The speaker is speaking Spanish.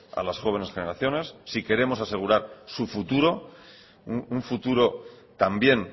a las jóvenes generaciones si queremos asegurar su futuro un futuro también